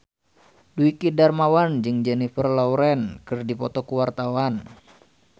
Dwiki Darmawan jeung Jennifer Lawrence keur dipoto ku wartawan